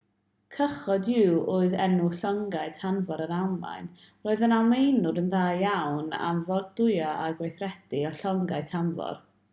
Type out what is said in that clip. cychod-u oedd enw llongau tanfor yr almaen roedd yr almaenwyr yn dda iawn am fordwyo a gweithredu eu llongau tanfor